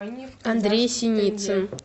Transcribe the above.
андрей синицын